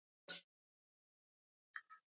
Bẹ́ẹ̀ ni, olóṣó ni ní Èkó tẹ́lẹ̀.